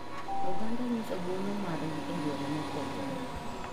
Oganda nyiso nguono mar gi e yore mopogore.